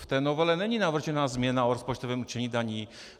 V té novele není navržena změna o rozpočtovém určení daní.